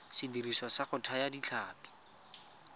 sediriswa sa go thaya ditlhapi